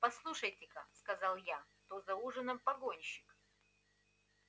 послушайте ка сказал как то за ужином погонщик